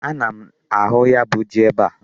Ana m ahụ ya bụ ji ebe a.